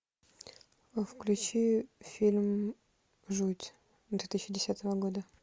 включи фильм жуть две тысячи десятого года